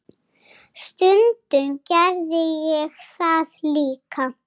Stundum gerði ég það líka.